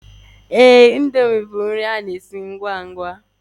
Ee, indomie bụ nri ngwangwa.